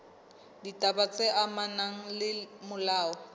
ditaba tse amanang le molao